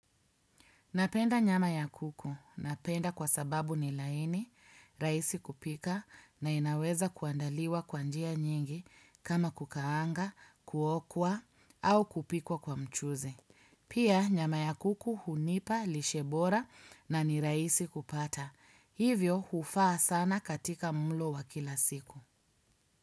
Napenda nyama ya kuku. Napenda kwa sababu ni laini, raisi kupika na inaweza kuandaliwa kwa njia nyingi kama kukaanga, kuokwa au kupikwa kwa mchuzi. Pia nyama ya kuku hunipa, lishe bora na ni raisi kupata. Hivyo hufaa sana katika mulo wa kila siku.